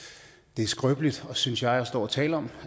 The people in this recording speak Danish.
det er skrøbeligt synes jeg at stå og tale om